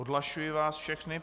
Odhlašuji vás všechny.